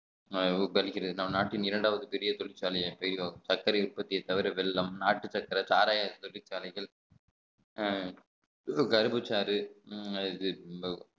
நம் நாட்டின் இரண்டாவது பெரிய தொழிற்சாலையை ஐரோப் சர்க்கரை உற்பத்தியை தவிர வெள்ளம் நாட்டுச் சர்க்கரை சாராயத் தொழிற்சாலைகள் அஹ் கரும்புச்சாறு அது